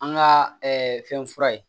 An ka fɛn fura ye